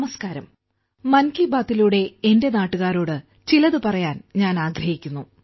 നമസ്കാരം മൻ കി ബാത്തിലൂടെ എന്റെ നാട്ടുകാരോട് ചിലത് പറയാൻ ആഗ്രഹിക്കുന്നു